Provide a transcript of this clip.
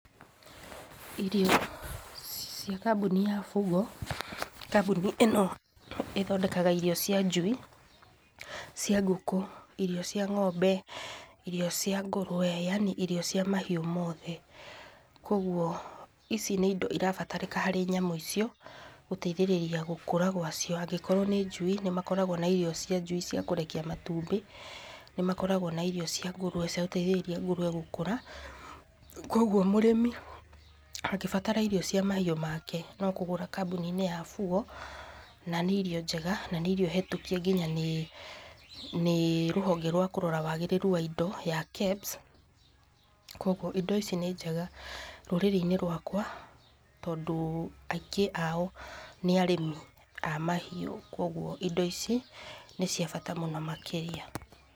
irio cia kambuni ya Fugo, kambuni ĩno ĩthondekaga irio cia njui, cia ngũkũ, irio cia ng'ombe, irio cia ngũrũwe, yani irio cia mahiũ mothe, kwoguo ici nĩ ĩndo cirabatarĩka harĩ nyamũ icio, gũteithĩrĩria gũkũra gwacio, angĩkorwo nĩ njui, nĩ makoragwo na irio cia njui cia kũrekia matumbĩ, nĩ makoragwo na irio cia ngũrũwe, cia gũteithĩrĩria ngũrũwe gũkũra, kwoguo mũrĩmi angĩbatara irio cia mahiũ make, no kũgũra kambuni-inĩ ya Fugo, na nĩ irio njega, na nĩ irio hetũkie nginya nĩ nĩ rũhonge rwa kũrora wagĩrĩru wa indo, ya KEBS, kwoguo indo ici nĩ njega rũriri-inĩ rwakwa, tondũ aingĩ ao nĩ arĩmi a mahiũ, kwoguo indo ici, nĩ cia bata mũno makĩria.